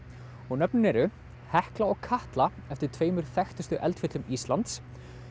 nöfnin eru hekla og Katla eftir tveimur þekktustu eldfjöllum Íslands